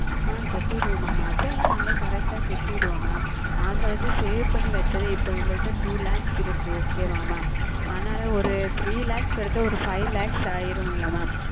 ஆஹ் செலுத்தி விடுவேன் Mam அது எல்லாம் நாங்கள் Correct ஆ செலுத்தி விடுவோம் Mam நாங்கள் வந்து Save செய்து வைத்தது இப்பொழுது எங்களிடம் ஓர் Two Lakhs இருக்கிறது Okay ஆ Mam அதுனால் ஓர் Three Lakhs கிடைத்தால் Five Lakhs ஆகிவிடும் அல்லவா Mam